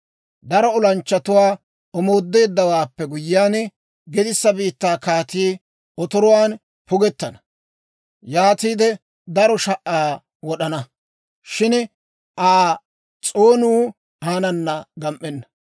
Daro olanchchatuwaa omoodeeddawaappe guyyiyaan, gedissa biittaa kaatii otoruwaan pugettana. Yaatiide daro sha"aa wod'ana; shin Aa s'oonuu aanana gam"enna.